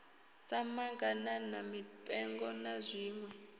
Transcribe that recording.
sa maḓaganana mipengo na zwiṋwe